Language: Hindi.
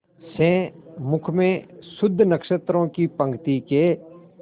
से मुख में शुद्ध नक्षत्रों की पंक्ति के